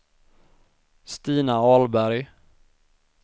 Stina Ahlberg